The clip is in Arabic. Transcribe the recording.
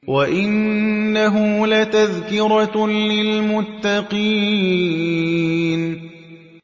وَإِنَّهُ لَتَذْكِرَةٌ لِّلْمُتَّقِينَ